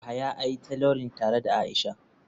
Yahaya ia trolling tare da aisha.